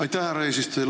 Aitäh, härra eesistuja!